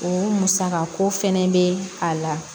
O musakako fɛnɛ bɛ a la